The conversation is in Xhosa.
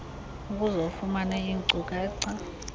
ukuze ufumane iinkcukacha